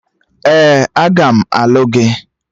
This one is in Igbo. Ee, aga m alụ gị